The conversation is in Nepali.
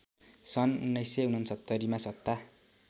सन् १९६९मा सत्ता